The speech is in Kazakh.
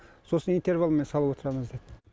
сосын интервалмен салып отырамыз деді